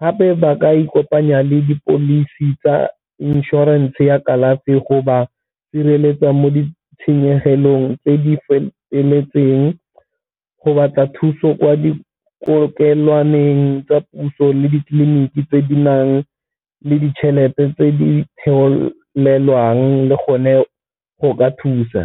gape ba ka ikopanya le di-policy tsa insurance ya kalafi go ba sireletsa mo ditshenyegelong tse di feteletseng, go batla thuso kwa dikokelwaneng tsa puso le ditleliniki tse di nang le ditšhelete tse di le gone go ka thusa.